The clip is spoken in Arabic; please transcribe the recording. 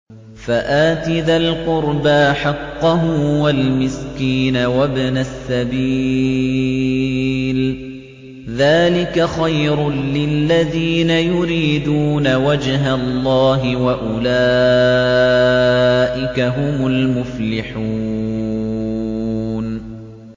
فَآتِ ذَا الْقُرْبَىٰ حَقَّهُ وَالْمِسْكِينَ وَابْنَ السَّبِيلِ ۚ ذَٰلِكَ خَيْرٌ لِّلَّذِينَ يُرِيدُونَ وَجْهَ اللَّهِ ۖ وَأُولَٰئِكَ هُمُ الْمُفْلِحُونَ